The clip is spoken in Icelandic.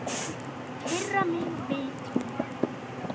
Firra mig vitinu.